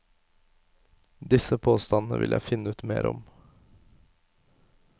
Disse påstandene vil jeg finne ut mer om.